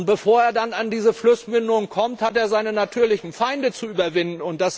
Bevor er an die Flussmündung kommt, hat er seine natürlichen Feinde zu überwinden.